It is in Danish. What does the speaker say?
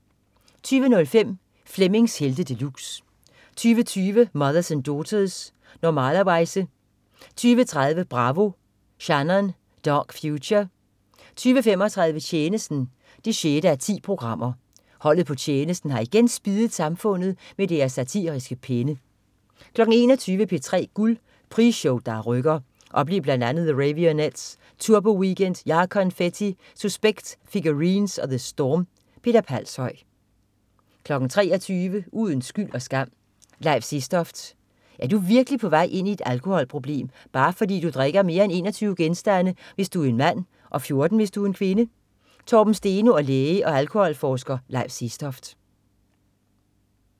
20.05 Flemmings Helte De Luxe 20.20 Mothers and Daughters. Normalerweize 20.30 Bravo, Shannon. Dark Future 20.35 Tjenesten 6:10. Holdet på Tjenesten har igen spiddet samfundet med deres satiriske penne 21.00 P3 Guld. Prisshow der rykker. Oplev bl.a. The Raveonettes, Turboweekend, JaConfetti, Suspekt, Figurines og The Storm. Peter Palshøj 23.00 Uden skyld og skam: Leif Sestoft. Er du virkelig på vej ud i et alkoholproblem, bare fordi du drikker mere end 21 genstande, hvis du er en mand og 14 hvis du er er kvinde? Torben Steno og læge og alkoholforsker Leif Sestoft